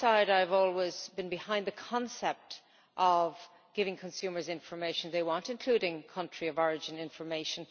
I have always been behind the concept of giving consumers the information they want, including country of origin information.